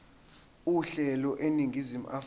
uhlelo eningizimu afrika